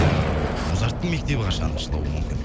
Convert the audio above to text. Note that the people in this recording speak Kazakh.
ыыы музарттың мектебі қашан ашылуы мүмкін